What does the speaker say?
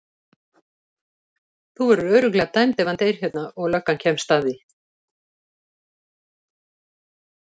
Þú verður örugglega dæmd ef hann deyr hérna og löggan kemst að því.